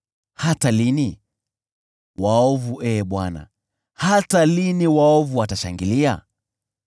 Hata lini, waovu, Ee Bwana , hata lini waovu watashangilia?